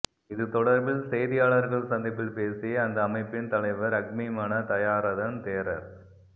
இது தொடர்பில் செய்தியாளர்கள் சந்திப்பில் பேசிய அந்த அஅமைப்பின் தலைவர் அக்மிமன தயாரதன் தேரர்